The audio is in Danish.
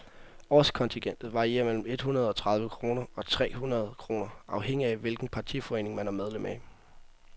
Årskontingentet varierer mellem et hundrede og tredive kroner og tre hundrede kroner afhængigt af, hvilken partiforening man er medlem af.